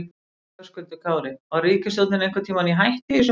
Höskuldur Kári: Var ríkisstjórnin einhvern tímann í hættu í þessu máli?